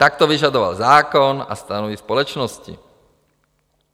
Tak to vyžadoval zákon a stanovy společnosti.